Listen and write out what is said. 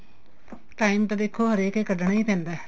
time ਤਾਂ ਦੇਖੋ ਹਰੇਕ ਏ ਕੱਡਣਾ ਈ ਪੈਂਦਾ